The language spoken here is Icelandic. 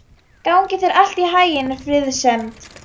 Gangi þér allt í haginn, Friðsemd.